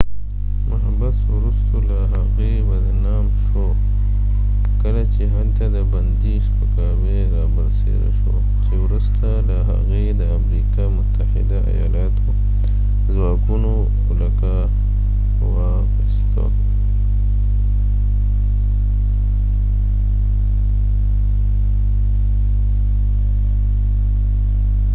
محبس وروسته له هغې بدنام شو کله چې هلته د بندي سپکاوي رابرسیره شو چې وروسته له هغې د امریکا متحده آیالاتو ځواکونو ولکه واخیسته